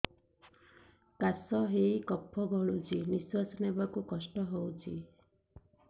କାଶ ହେଇ କଫ ଗଳୁଛି ନିଶ୍ୱାସ ନେବାକୁ କଷ୍ଟ ହଉଛି